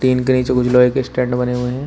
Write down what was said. Machine के नीचे कुछ लोहे के स्टैंड बने हुए हैं।